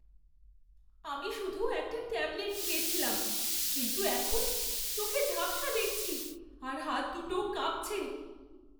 আমি শুধু একটা ট্যাবলেট খেয়েছিলাম, কিন্তু এখন চোখে ঝাপসা দেখছি আর হাত দুটোও কাঁপছে।